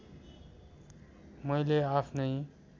मैले आफ्नै